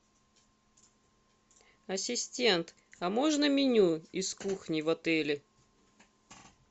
ассистент а можно меню из кухни в отеле